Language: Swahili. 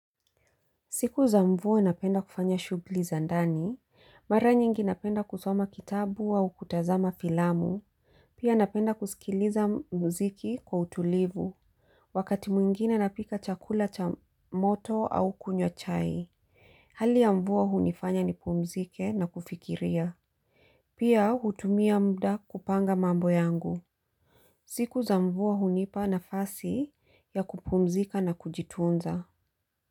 Siku za mvua napenda kufanya shughuli za ndani, mara nyingi napenda kusoma kitabu au kutazama filamu. Pia napenda kusikiliza mziki kwa utulivu. Wakati mwingine napika chakula cha moto au kunywa chai. Hali ya mvua hunifanya nipumzike na kufikiria. Pia hutumia muda kupanga mambo yangu. Siku za mvua hunipa nafasi ya kupumzika na kujitunza.